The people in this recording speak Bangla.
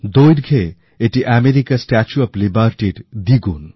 দৈর্ঘে এটি আমেরিকার স্ট্যাচু অফ লিবার্টির দ্বিগুন